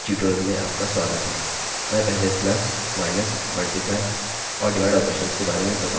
मैं पहले plus+ minus multiply* और डिवाइड/ ऑपरेशन्स के बारे में बताऊँगा